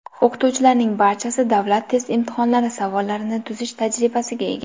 O‘qituvchilarning barchasi Davlat test imtihonlari savollarini tuzish tajribasiga ega.